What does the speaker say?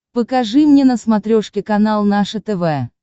покажи мне на смотрешке канал наше тв